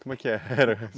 Como é que é era?